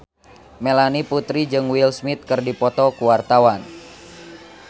Melanie Putri jeung Will Smith keur dipoto ku wartawan